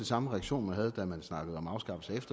samme reaktion man havde da man snakkede om afskaffelse af